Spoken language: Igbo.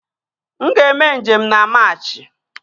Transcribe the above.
M ga-eme njem na Maachi